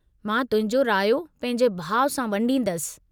मां तुंहिंजो रायो पंहिंजे भाउ सां वंडींदसि।